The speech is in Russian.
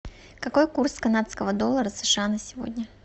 какой курс канадского доллара сша на сегодня